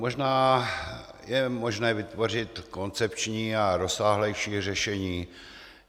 Možná je možné vytvořit koncepční a rozsáhlejší řešení.